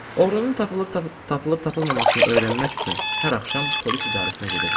Oğrunun tapılıb tapılmamasını öyrənmək üçün hər axşam polis idarəsinə gedirdim.